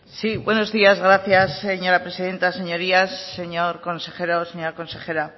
sí buenos días gracias señora presidenta señorías señor consejero señora consejera